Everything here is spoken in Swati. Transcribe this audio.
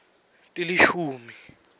tilishumi